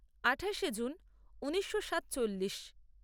আঠাশে জুন ঊনিশো সাতচল্লিশ